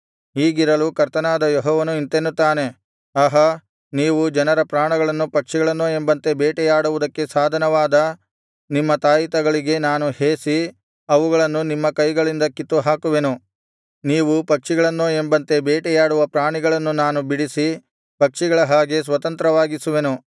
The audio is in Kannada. ಹೀಗಿರಲು ಕರ್ತನಾದ ಯೆಹೋವನು ಇಂತೆನ್ನುತ್ತಾನೆ ಆಹಾ ನೀವು ಜನರ ಪ್ರಾಣಗಳನ್ನು ಪಕ್ಷಿಗಳನ್ನೋ ಎಂಬಂತೆ ಬೇಟೆಯಾಡುವುದಕ್ಕೆ ಸಾಧನವಾದ ನಿಮ್ಮ ತಾಯಿತಗಳಿಗೆ ನಾನು ಹೇಸಿ ಅವುಗಳನ್ನು ನಿಮ್ಮ ಕೈಗಳಿಂದ ಕಿತ್ತು ಹಾಕುವೆನು ನೀವು ಪಕ್ಷಿಗಳನ್ನೋ ಎಂಬಂತೆ ಬೇಟೆಯಾಡುವ ಪ್ರಾಣಿಗಳನ್ನು ನಾನು ಬಿಡಿಸಿ ಪಕ್ಷಿಗಳ ಹಾಗೆ ಸ್ವತಂತ್ರವಾಗಿಸುವೆನು